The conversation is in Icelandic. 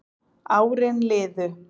Árin liðu